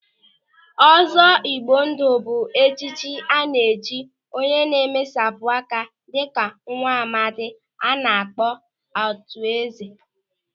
Ọzọ Igbo ndụ bụ echichi a na-echi onye na-emesapụ aka dịka Nwamadi a na-akpọ Arthur Eze.